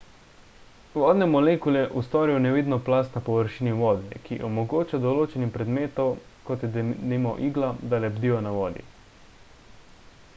vodne molekule ustvarijo nevidno plast na površini vode ki omogoča določenim predmetom kot je denimo igla da lebdijo na vodi